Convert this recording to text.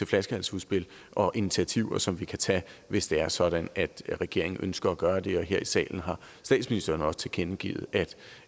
flaskehalsudspil og initiativer som vi kan tage hvis det er sådan at regeringen ønsker at gøre det her i salen har statsministeren jo også tilkendegivet